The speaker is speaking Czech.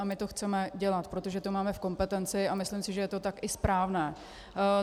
A my to chceme dělat, protože to máme v kompetenci, a myslím si, že je to tak i správné.